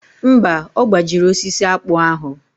Mba, ọ gbajiri osisi akpụ ahụ.